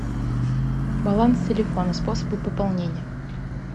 баланс телефона способы пополнения